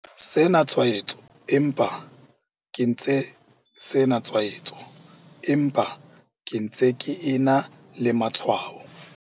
Sena tshwaetso empa ke ntse sena tshwaetso empa ke ntse ke ena le matshwao.